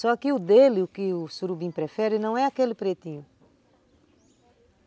Só que o dele, o que o surubim prefere não é aquele pretinho.